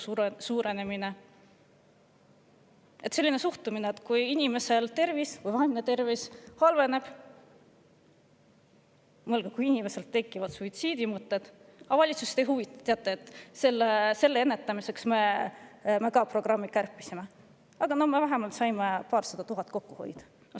Suhtumine on selline, et kui inimeste tervis või vaimne tervis halveneb, kui inimesel tekivad suitsiidimõtted, siis valitsust see ei huvita: "Teate, seda ennetamise programmi me ka kärpisime, aga vähemalt saime paarsada tuhat kokku hoida.